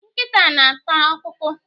Nkịta na- ata ọkpụkpụ.